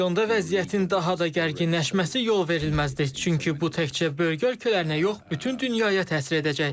Regionda vəziyyətin daha da gərginləşməsi yolverilməzdir, çünki bu təkcə bölgə ölkələrinə yox, bütün dünyaya təsir edəcək.